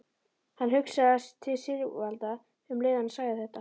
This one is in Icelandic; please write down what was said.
Hann hugsaði til Sigvalda um leið og hann sagði þetta.